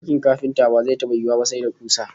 Aikin kafinta ba zai taba yiwuwa ba sai da kusa